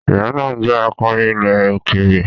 Rihanna jẹ́ akọrin ilẹ̀ òkèèrè.